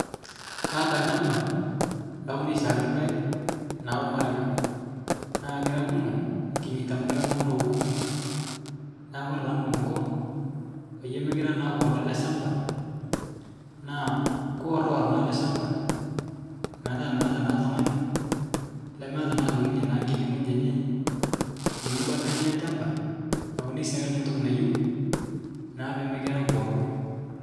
Kaata lchamba laune shaake lpaeg naa omaragwe, naa kira kumo kinyeita amu kira ltung'ana okuni, naa kore taa nikinko, paiye mikira taa kuoro ale shamba naa kuworwor naa ale shamba petaa meata naa ltung'ani lemeata naa aitoki ninye nkini ng'oji enye nkini bata enye elchamba naune siake ninye ntoki nayeu, naa pimikira kuoro.